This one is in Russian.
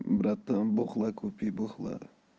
братан бухла купи бухла